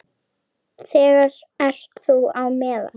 Þar ert þú á meðal.